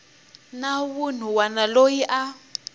na wun wana loyi a